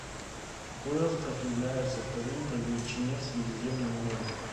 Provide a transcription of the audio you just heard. какой остров является вторым по величине в средиземном море